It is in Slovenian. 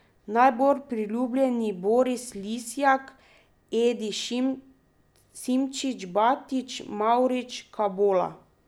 Najbolj priljubljeni Boris Lisjak, Edi Simčič, Batič, Mavrič, Kabola.